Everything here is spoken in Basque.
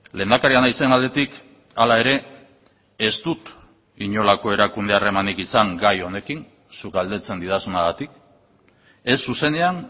lehendakaria naizen aldetik hala ere ez dut inolako erakunde harremanik izan gai honekin zuk galdetzen didazunagatik ez zuzenean